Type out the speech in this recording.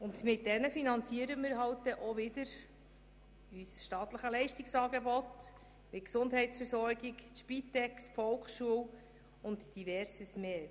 Damit finanzieren wir unser staatliches Leistungsangebot wie die Gesundheitsversorgung, die Spitex, die Volksschule und Diverses mehr.